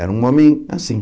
Era um homem assim.